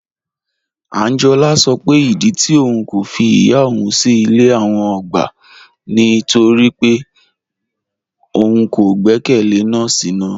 Ànjọ́lá sọ pé ìdí tì ọ̀un kò fí ìyá ọ̀un sí ilẹ̀ àwọn ọ̀gbá ni nítorí pé ọ̀un kò gbẹkẹlé nọọ̀sí náà